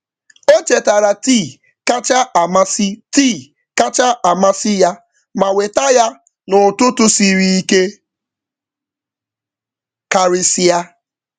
Ọ chetara tii kacha amasị tii kacha amasị ya ma weta ya n’ụtụtụ siri ike karịsịa.